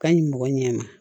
Ka ɲi mɔgɔ ɲɛ ma